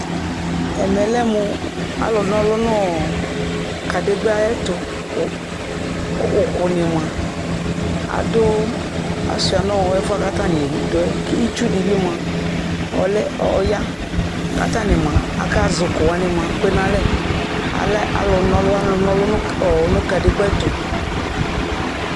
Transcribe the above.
Ɛmɛ lɛ mʋ alʋ nɔlʋ nʋ kadigba ayɛtʋ Ʋkʋ ni moa adʋ, asuia nʋ ɛfuɛ kʋ atani dʋ yɛ, kʋ itsu di bi moa, ɔlɛ, ɔya kʋ atani moa akazʋ ʋkʋ wani kpe nalɛ Alɛ alʋ nɔlɔ, alʋ nɔlɔ nʋ kadigba ayɛtʋ